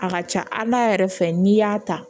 A ka ca ala yɛrɛ fɛ n'i y'a ta